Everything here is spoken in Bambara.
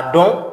A dɔn